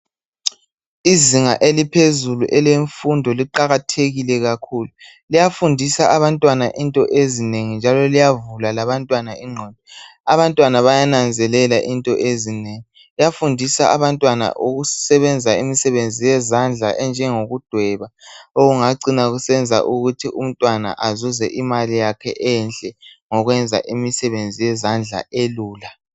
Izinga eliphezulu elemfundo liqakathekile kakhulu .Liyafundisa abantwana into ezinengi njalo liyavula labantwana igqondo. Abantwana bayananzelela into ezinengi. Liyafundisa abantwana ukusebenza imisebenzi yezandla okunjengo kudweba okungacina kusenza ukuthi umntwana azuze imali yakhe enhle ngokwenza imisebenzi yezandla elula.